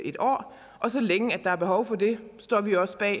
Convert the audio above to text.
et år så længe der er behov for det står vi også bag